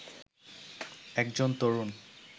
একজন তরুণ